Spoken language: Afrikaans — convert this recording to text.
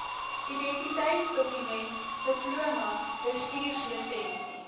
identiteitsdokument diploma bestuurslisensie